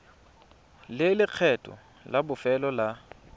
le lekgetho la bofelo la